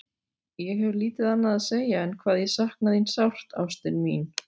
Ég hef lítið annað að segja en hvað ég sakna þín sárt, ástin mín.